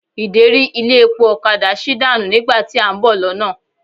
Ìderí ilé epo ọ̀kadà sí dànù nígbà tí à ń bọ̀ lọ́nà.